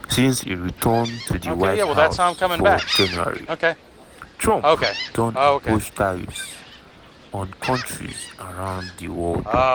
since e return to di white house for january trump don impose tariffs on kontris around di world.